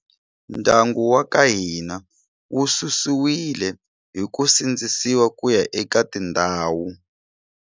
Ndyangu wa ka hina wu su siwile hi ku sindzisiwa kuya eka tindhawu.